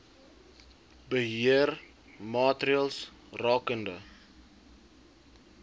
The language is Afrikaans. beheer maatreëls rakende